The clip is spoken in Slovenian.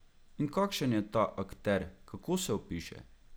In kakšen je ta akter, kako se opiše?